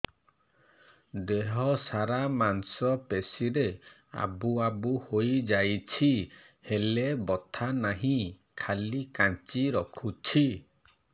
ଦେହ ସାରା ମାଂସ ପେଷି ରେ ଆବୁ ଆବୁ ହୋଇଯାଇଛି ହେଲେ ବଥା ନାହିଁ ଖାଲି କାଞ୍ଚି ରଖୁଛି